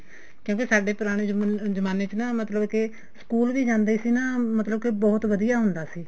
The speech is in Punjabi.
ਕਿਉਂਕਿ ਸਾਡੇ ਪੁਰਾਣੇ ਜ਼ਮਾਨੇ ਚ ਮਤਲਬ ਕੇ ਸਕੂਲ ਵੀ ਜਾਂਦੇ ਸੀ ਨਾ ਮਤਲਬ ਕੇ ਬਹੁਤ ਵਧੀਆ ਹੁੰਦਾ ਸੀ